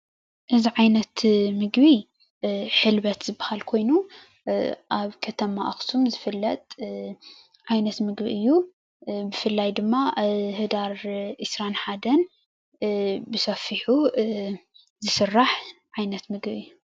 እዙይ ዓይነት ምግቢ ሕልበት ዝባሃል ኮይኑ ኣብ ከተማ ኣክሱም ዝፍለጥ ዓይነት ምግቢ እዩ። ብፍላይ ድማ ሕዳር ዒስራን ሓደን ብሰፊሑ ዝስራሕ ዓይነት ምግቢ እዩ።